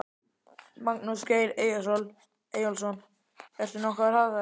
Magnús Geir Eyjólfsson: Ert þú nokkuð á hraðferð?